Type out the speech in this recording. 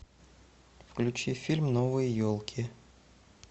включи фильм новые елки